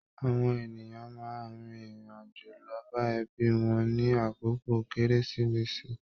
Àwọn ènìyàn máa n rin irin-ajo lọ bá ẹbí wọn ni àkókò kérésìmesì